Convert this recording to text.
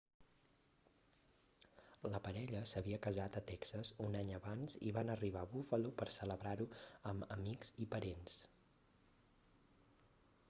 la parella s'havia casat a texas un any abans i van arribar a buffalo per celebrar-ho amb amics i parents